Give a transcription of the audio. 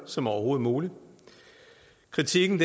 som overhovedet muligt kritikken